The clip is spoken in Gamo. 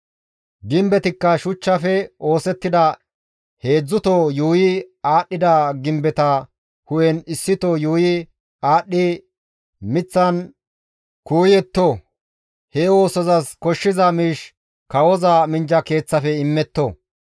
Gimbetikka shuchchafe oosettida heedzdzuto yuuyi aadhdhida gimbeta hu7en issito yuuyi aadhdhi miththan kuuyetto; he oosozas koshshiza miish kawoza minjja keeththafe immetto.